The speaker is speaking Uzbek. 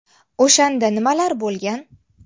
O‘shanda nimalar bo‘lgan?